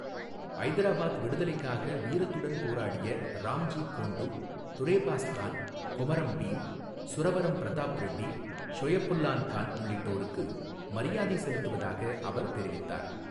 ஐதராபாத் விடுதலைக்காக வீரத்துடன் போராடிய ராம்ஜி கோண்டு, துரேபாஸ் கான், கொமரம் பீம், சுரவரம் பிரதாப் ரெட்டி, ஷொயபுல்லான் கான் உள்ளிட்டோருக்கு மரியாதை செலுத்துவதாக அவர் தெரிவித்தார்.